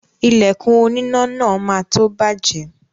Ìlẹ̀kùn oníná náà má tó bàjẹ́